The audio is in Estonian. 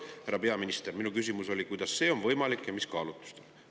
Härra peaminister, minu küsimus oli, kuidas see on võimalik ja mis kaalutlustel.